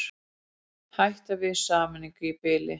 Hætt við sameiningu í bili